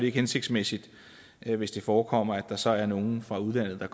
ikke hensigtsmæssigt hvis det forekommer at der så er nogle fra udlandet der